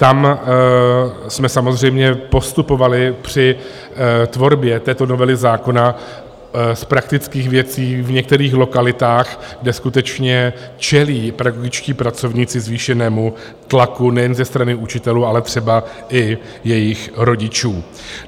Tam jsme samozřejmě postupovali při tvorbě této novely zákona z praktických věcí v některých lokalitách, kde skutečně čelí pedagogičtí pracovníci zvýšenému tlaku nejen ze strany učitelů, ale třeba i jejich rodičů.